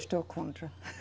Estou contra.